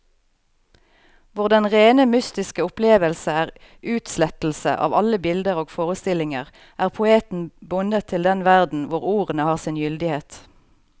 Hvor den rene mystiske opplevelse er utslettelse av alle bilder og forestillinger, er poeten bundet til den verden hvor ordene har sin gyldighet.